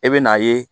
E bɛ n'a ye